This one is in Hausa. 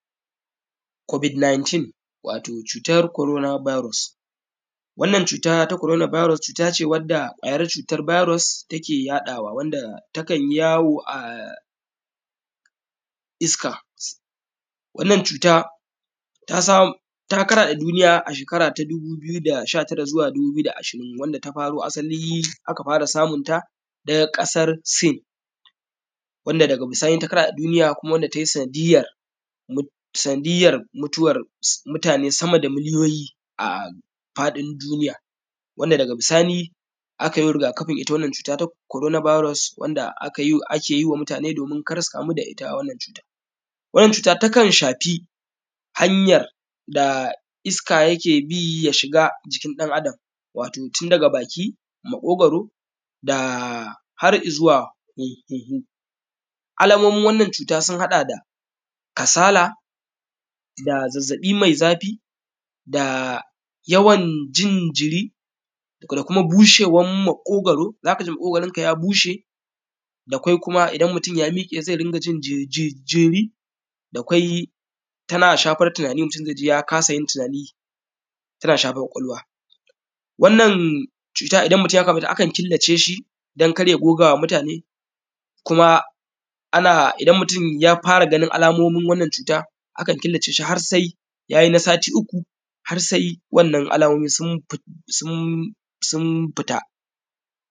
“Covid 19” wato, cutar koron bairos. Wannan cuta ta korona bairos, cut ace wadda ƙwayar cutar bairos take yaɗawa, wanda takan yi yawo a iska. Wannan cuta, ta sam; ta karaɗe duniya a shekara ta dubu biyu da sha tara zuwa dubu biyu da ashirin, wanda ta samo asali aka fara samun ta daga ƙasar Sin. Wanda daga bisani ta karaɗe duniya kuma wanda tai sanadiyyar mut; sanadiyyar mutuwar s; mutane sama da miliyoyi a faɗin duniya. Wanda, daga bisani, aka yi riga-kafin ita wannan cuta ta korona bairos wanka aka yi; ake yi wa mutane domin kar su kamu da ita wannan cuta. Wannan cuta, takan shafi hanyar da iska yake bi ya shiga jikin ɗan Adam. Wato, tun daga baki, maƙogoro, da; har i zuwa hm; hunhu. Alamomin wannan cuta sun haɗa da kasala da zazzaƃi me zafi da yawan jin jiri da kuma bushewam maƙogoro, za ka ji maƙogoronka ya bushe. Da kwai kuma, idan mutun ya miƙe ze ringa jin ji; ji; jiri, da kwai, tana shafar tinani mutun ze ji ya kasa yin tinani, tana shafar ƙwaƙwalwa. Wannan cuta, idan mutun ya kamu da ita, akan killace shi, dan kar ya goga wa mutane kuma ana; idan mutun ya fara ganin alamomin wannan cuta, akan killace shi har sai ya yin a sati uku, har sai wannan alamomi sum fit; sum; sum fita.